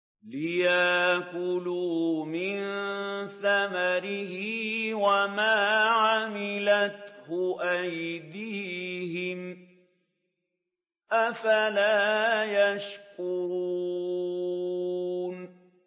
لِيَأْكُلُوا مِن ثَمَرِهِ وَمَا عَمِلَتْهُ أَيْدِيهِمْ ۖ أَفَلَا يَشْكُرُونَ